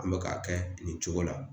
An be ka kɛ nin cogo la.